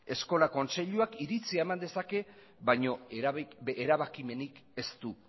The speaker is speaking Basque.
eskola kontseiluak iritzia eman dezake baina erabakimenik ez du